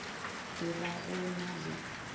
e ba go na le